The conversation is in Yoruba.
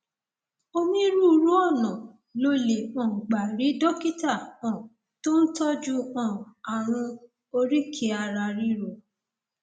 onírúurú ọnà lo lè um gbà rí dókítà um tó ń tọjú um ààrùn oríkèé araríro